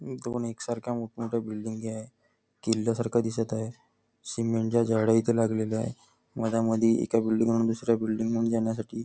दोन एकसारख्या मोठं मोठ्या बिल्डींगी आहे किल्ल्यासारख दिसत आहे सिमेंटच्या जाळ्या इथे लागलेल्या आहे मधा मध्ये एका बिल्डिंग वरून दुसऱ्या बिल्डिंग वर जाण्यासाठी--